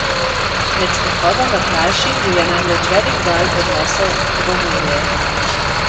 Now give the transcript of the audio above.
Med sprehodom na plaži jo je namreč velik val odnesel v morje.